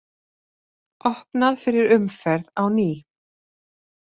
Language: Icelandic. Opnað fyrir umferð á ný